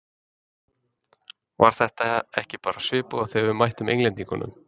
Var þetta ekki bara svipað og þegar við mættum Englendingunum?